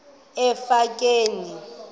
emafikeng